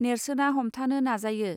नेर्सोना हमथानो नाजायो